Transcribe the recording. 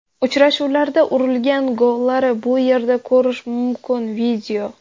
Uchrashuvlarda urilgan gollari bu yerda ko‘rish mumkin video .